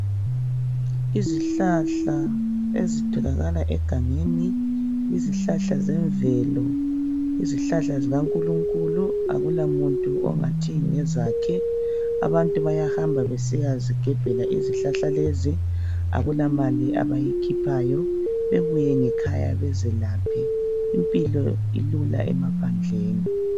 Izihlahla ezitholakala egangeni, izihlahla zemvelo, izihlahla zikaNkulunkulu. Akulamuntu ongathi ngezakhe. Abantu bayahamba besiyazigebhela izihlahla lezi, akulamali abayikhiphayo, bebuye ngekhaya bezelaphe. Impilo ilula emaphandleni.